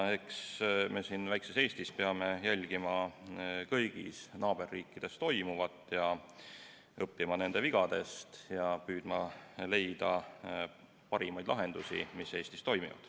Eks me siin väikses Eestis peame jälgima kõigis naaberriikides toimuvat, õppima nende vigadest ja püüdma leida parimaid lahendusi, mis Eestis toimivad.